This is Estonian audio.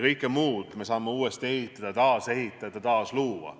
Kõike muud me saame uuesti ehitada, taas ehitada, taas luua.